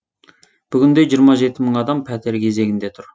бүгінде жиырма жеті мың адам пәтер кезегінде тұр